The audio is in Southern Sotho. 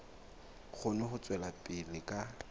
kgone ho tswela pele ka